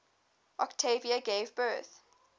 octavia gave birth